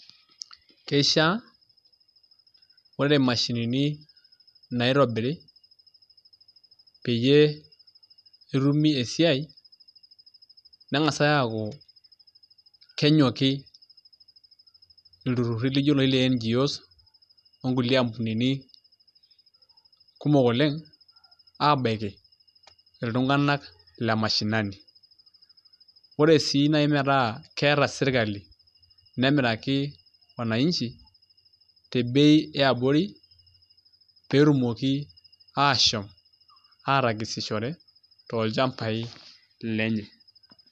Keishiaa ore imashinini naitobiri peyie etumi esiai neng'as aaku kenyoki ilturruri lijio iloshi le NGOs onkulie ampunini kumok oleng' aabaiki iltung'anak le mashinani ore sii naai metaa keeta sirkali nemiraki wananchi tebei e abori pee etumoki aashom aatagesishore tolchambai lenye.